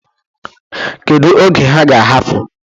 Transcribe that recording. Kedu oge ha ga-ahapụ?